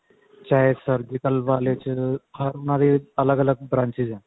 ਚਾਹੇ surgical ਵਾਲੇ ਚ ਹਰ ਉਹਨਾਂ ਦੀ ਅੱਲਗ ਅੱਲਗ branches ਹੈ